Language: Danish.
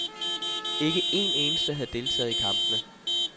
Ikke en eneste havde deltaget i kampene.